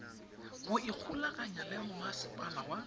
go ikgolaganya le masepala wa